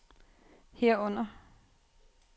herunder